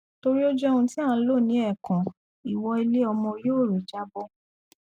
torí ó jẹ ohun tí à ń lò lẹẹkan ìwọ iléọmọ yóò ré jábọ